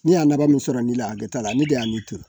Ni y'a nafa min sɔrɔ nin la hakɛ t'a la ne de y'a nin turu